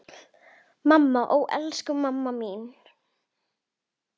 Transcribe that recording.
Mamma, ó elsku mamma mín.